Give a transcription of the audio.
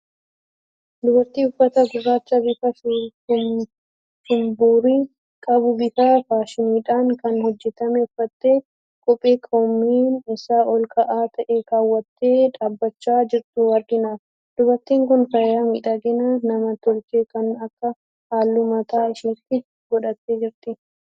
Dubartii uffata gurraacha bifa shumburii qabu, bifa faashiniidhaan kan hojjetame uffattee, kophee koomeen isaa ol ka'aa ta'e kaawwattee dhaabachaa jirtu argina. Dubartiin kun faaya midhaginaa nam tolchee kan akka halluu mataa ishiitti godhattee jirti.